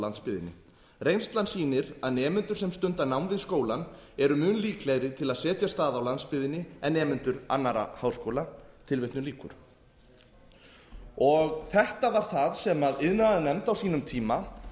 landsbyggðinni reynslan sýnir að nemendur sem stunda nám við skólann eru mun líklegri til að setjast að á landsbyggðinni en nemendur annarra háskóla þetta var það sem iðnaðarnefnd á sínum tíma